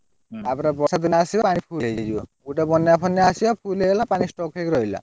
ଆପରେ ବର୍ଷା ଦିନ ଆସିବ ଆଡେ full ହେଇଯିବ। ଗୋଟେ ବନ୍ୟା ଫନ୍ୟା ଆସିବ full ହେଇଗଲା ପାଣି stock ହେଇକି ରହିଲା।